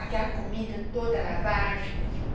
Aquela comida toda lavagem.